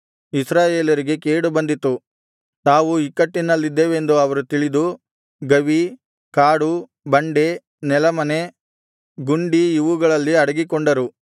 ಇಸ್ರಾಯೇಲರಿಗೆ ಕೇಡು ಬಂದಿತು ತಾವು ಇಕ್ಕಟ್ಟಿನಲ್ಲಿದ್ದೇವೆಂದು ಅವರು ತಿಳಿದು ಗವಿ ಕಾಡು ಬಂಡೆ ನೆಲಮನೆ ಗುಂಡಿ ಇವುಗಳಲ್ಲಿ ಅಡಗಿಕೊಂಡರು